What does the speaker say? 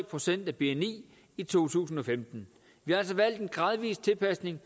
procent af bni i to tusind og femten vi har altså valgt en gradvis tilpasning